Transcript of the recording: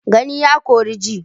Gani ya ƙore ji.